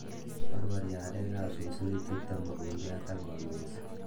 Borbori arekab susurichuton mukunkiat ak konunsi.